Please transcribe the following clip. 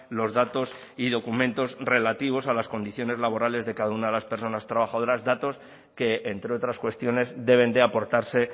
los datos y documentos relativos a las condiciones laborales de cada una de las personas trabajadoras datos que entre otras cuestiones deben de aportarse